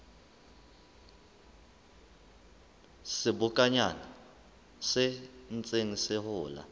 sebokonyana se ntseng se hola